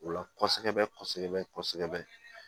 O la kɔɔsɔbɛ kɔsɔbɛ kɔsɔbɛ